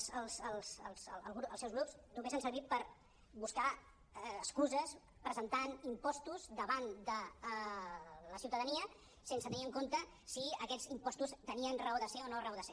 els seus grups només han servit per buscar excuses presentant impostos davant de la ciutadania sense tenir en compte si aquests impostos tenien raó de ser o no raó de ser